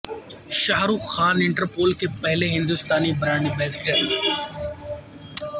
شاہ Rukh Khan Interpol کے پہلے ہندوستانی برانڈ ایمبیسڈر